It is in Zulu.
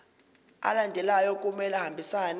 alandelayo kumele ahambisane